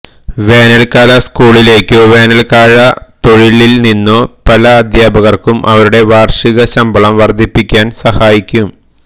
വേനൽക്കാല സ്കൂളിലേക്കോ വേനൽക്കാല തൊഴിലിൽ നിന്നോ പല അദ്ധ്യാപകർക്കും അവരുടെ വാർഷിക ശമ്പളം വർദ്ധിപ്പിക്കാൻ സഹായിക്കും